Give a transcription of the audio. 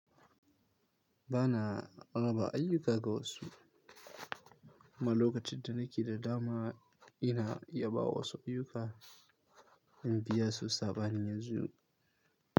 Ba na raba ayyuka ga wasu. Ma lokacin da nake da dama ina yabawa wasu ayyuka in biya su saɓanin yanzu.